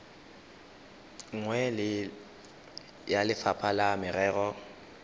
nngwe ya lefapha la merero